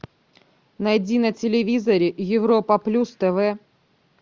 найди на телевизоре европа плюс тв